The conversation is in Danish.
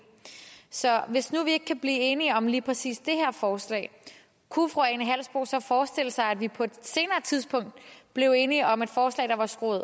så hvis nu vi ikke kan blive enige om lige præcis det her forslag kunne fru ane halsboe jørgensen så forestille sig at vi på et senere tidspunkt blev enige om et forslag der var skruet